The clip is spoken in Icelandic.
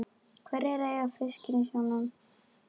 Hverjir eiga fiskinn í sjónum?